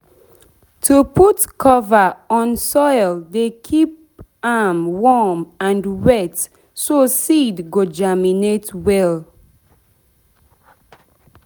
to put cover on soil dey keep am warm and wet so seed go germinate well.